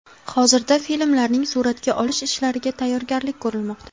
Hozirda filmlarning suratga olish ishlariga tayyorgarlik ko‘rilmoqda.